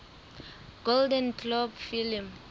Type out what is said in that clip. golden globe film